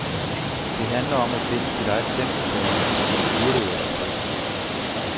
Det handler om at finde sit eget tempo, sagde hun og spurtede afsted.